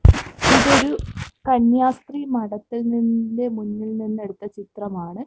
ഇതൊരു കന്യാസ്ത്രീ മഠത്തിൽ നിന്ന്ന്റെ മുന്നിൽ നിന്ന് എടുത്ത ചിത്രമാണ്.